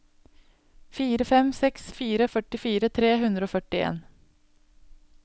fire fem seks fire førtifire tre hundre og førtien